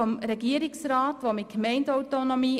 Die Regierungsantwort argumentiert mit Gemeindeautonomie.